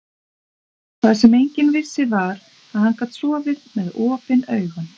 Það sem enginn vissi var, að hann gat sofið með OPIN AUGUN.